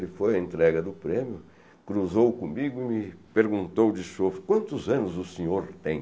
Ele foi à entrega do prêmio, cruzou comigo e me perguntou de chufo, quantos anos o senhor tem?